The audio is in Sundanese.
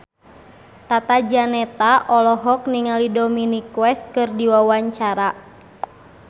Tata Janeta olohok ningali Dominic West keur diwawancara